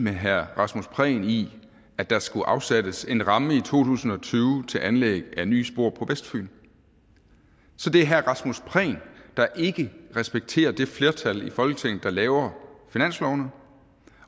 med herre rasmus prehn i at der skulle afsættes en ramme i to tusind og tyve til anlæg af nye spor på vestfyn så det er herre rasmus prehn der ikke respekterer det flertal i folketinget der laver finanslovene